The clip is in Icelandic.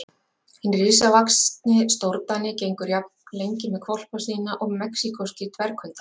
Hinn risavaxni stórdani gengur jafn lengi með hvolpa sína og mexíkóskir dverghundar.